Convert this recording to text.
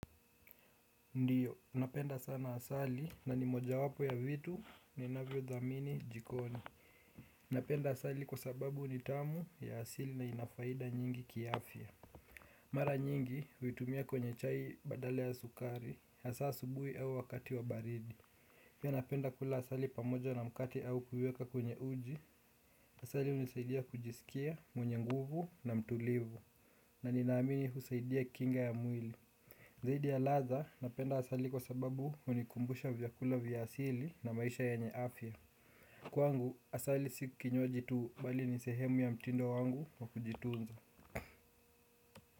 Ndiyo, napenda sana asali na ni mojawapo ya vitu ninavyo dhamini jikoni. Napenda asali kwa sababu ni tamu ya asili na inafaida nyingi kiafia. Mara nyingi huitumia kwenye chai badala ya sukari, hasaa asubuhi au wakati wa baridi. Pia napenda kula asali pamoja na mkate au kuiweka kwenye uji, asali unisaidia kujisikia mwenye nguvu na mtulivu, na ninaamini husaidia kinga ya mwili. Zaidi ya ladha napenda asali kwa sababu hunikumbusha vyakula vya asili na maisha yanye afya. Kwangu asali si kinywaji tu bali ni sehemu ya mtindo wangu wa kujitunza.